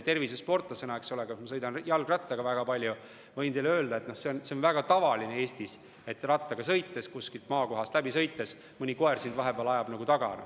Tervisesportlasena – ma sõidan jalgrattaga väga palju – ma võin teile öelda, et see on väga tavaline Eestis, et kui kuskil maakohas sõidad, siis mõni koer ajab sind vahepeal taga.